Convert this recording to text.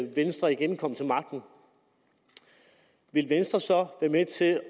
venstre igen kom til magten ville venstre så være med til at